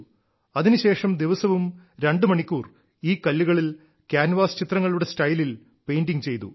അതിനുശേഷം ദിവസവും രണ്ടുമണിക്കൂർ ഈ കല്ലുകളിൽ കാൻവാസ് ചിത്രങ്ങളുടെ സ്റ്റൈലിൽ പെയ്ന്റിംഗ് ചെയ്തു